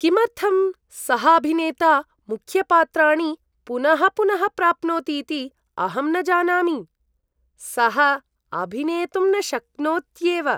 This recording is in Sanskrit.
किमर्थं सः अभिनेता मुख्यपात्राणि पुनः पुनः प्राप्नोतीति अहं न जानामि। सः अभिनेतुं न शक्नोत्येव।